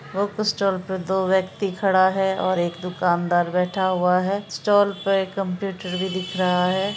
Book stall पे दो व्यक्ति खड़ा है और एक दुकानदार बैठा हुआ है| स्टाल पे एक कंप्यूटर भी दिख रहा है।